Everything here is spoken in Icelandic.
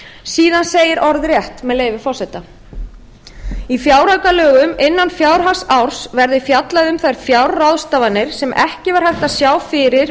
síðan segir orðrétt með leyfi forseta í fjáraukalögum innan fjárhagsárs verði fjallað um þær fjárráðstafanir sem ekki var hægt að sjá fyrir